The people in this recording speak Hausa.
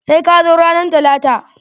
Sai ka zo ranan talata!